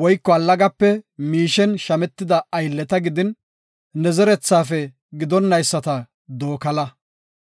woyko allagape miishen shametida aylleta gidin, ne zerethafe gidonayisata dookala.